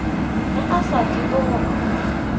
ge a sa tsebe gore